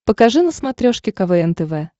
покажи на смотрешке квн тв